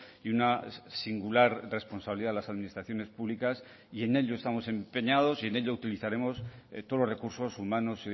y una singular responsabilidad de las administraciones públicas y en ello estamos empeñados y en ello utilizaremos todos los recursos humanos